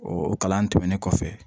O kalan tɛmɛnen kɔfɛ